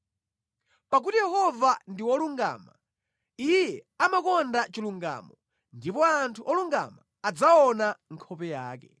Pakuti Yehova ndi wolungama, Iye amakonda chilungamo; ndipo anthu olungama adzaona nkhope yake.